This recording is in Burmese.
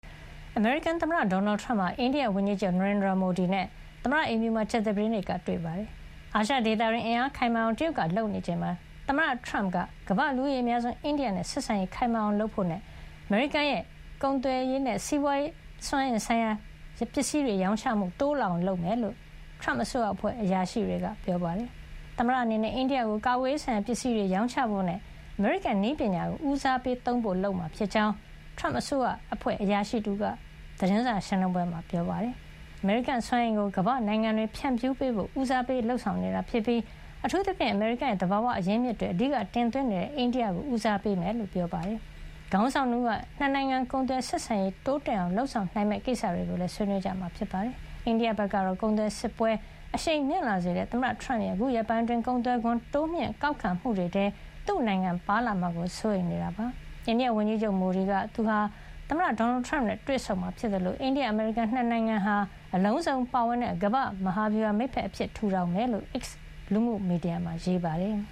အမေရိကန်သမ္မတ ဒေါ်နယ်ထရမ့်ဟာ အိန္ဒိယဝန်ကြီးချုပ် နရိန်ဒရာမိုဒီနဲ့ သမ္မတအိမ်ဖြူမှာ ကြာသပတေးနေ့က တွေ့ဆုံပါတယ်။ အာရှ ဒေသတွင်း အင်အားခိုင်မာအောင် တရုတ်က လုပ်ဆောင်နေချိန်မှာ သမ္မတထရမ့်က ကမ္ဘာ့လူဦးရေအများဆုံး အိန္ဒိယနဲ့ ဆက်ဆံရေး ခိုင်မာအောင်လုပ်ဖို့နဲ့ အမေရိကန်ရဲ့ ကာကွယ်ရေးနဲ့ စွမ်းအင်ဆိုင်ရာ ပစ္စည်းတွေ ရောင်းချမှုတိုးလာအောင် လုပ်ဆောင်မှာ ဖြစ်ကြောင်း ထရမ့်အစိုးရအဖွဲ့ အရာရှိတွေက ပြောပါတယ်။ သမ္မတအနေနဲ့ အိန္ဒိယကို ကာကွယ်ရေးဆိုင်ရာ ပစ္စည်းတွေရောင်းချဖို့နဲ့ အမေရိကန် နည်းပညာကို ဦးစားပေးသုံးဖို့ လုပ်ဆောင်မှာ ဖြစ်ကြောင်း ထရမ့်အစိုးရအဖွဲ့ အရာရှိတဦးက ကြာသပတေးမနက် သတင်းစာရှင်းလင်းပွဲမှာ ပြောပါတယ်။ ဒါ့အပြင် အမေရိကန် စွမ်းအင်ကို ကမ္ဘာ့နိုင်ငံတွေ ဖြန့်ဖြူးပေးဖို့ ဦးစားပေး လုပ်ဆောင်နေတာ ဖြစ်ပြီး အထူးသဖြင့် အမေရိကန်ရဲ့ သဘာဝ အရင်းအမြစ်တွေ အဓိက တင်သွင်းနေတဲ့ အိန္ဒိယကို ဦးစားပေးမှာ ဖြစ်ကြောင်းလည်း ပြောပါတယ်။ ခေါင်းဆောင် ၂ ဦးဟာ နှစ်နိုင်ငံ ကုန်သွယ်ဆက်ဆံရေး တိုးတက်အောင် လုပ်ဆောင်နိုင်မယ့် ကိစ္စတွေကိုလည်း ဆွေးနွေးကြမှာ ဖြစ်ပါတယ်။ အိန္ဒိယဘက်ကတော့ ကုန်သွယ်စစ်ပွဲ အရှိန်မြင့်လာစေတဲ့ သမ္မတ ထရမ့်ရဲ့ ခုရက်ပိုင်းအတွင်း ကုန်သွယ်ခွန် တိုးမြှင့် ကောက်ခံမှုတွေထဲ သူ့နိုင်ငံပါလာမှာကို စိုးရိမ်နေတာလည်း ဖြစ်ပါတယ်။ အိန္ဒိယဝန်ကြီးချုပ် မိုဒီကတော့ သူဟာ သမ္မတဒေါ်နယ်ထရမ့်နဲ့ တွေ့ဆုံမှာဖြစ်သလို အိန္ဒိယ-အမေရိကန် ၂ နိုင်ငံဟာ အလုံးစုံပါဝင်တဲ့ ကမ္ဘာ့ မဟာဗျူဟာ မိတ်ဘက်အဖြစ် ထူထောင်မှာဖြစ်ကြောင်း X လူမှု မီဒီယာမှာ ရေးပါတယ်။